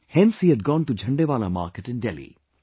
hence he had gone to Jhandewalan market in Delhi